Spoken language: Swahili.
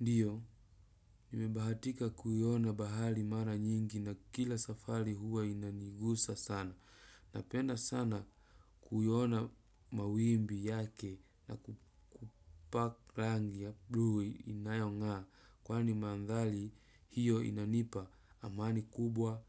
Ndiyo, nimebahatika kuyona bahali mara nyingi na kila safali huwa inanigusa sana. Napenda sana kuiona mawimbi yake napaki rangi ya bluu inayongaa mandhali hiyo inanipa amani kubwa